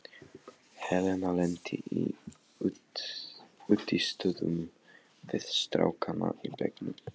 Helena lenti í útistöðum við strákana í bekknum.